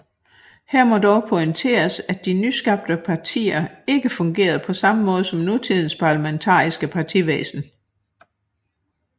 Her må dog pointeres at de nyskabte partier ikke fungerede på samme måde som nutidens parlamentariske partivæsen